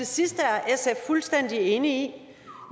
sidste er sf fuldstændig enig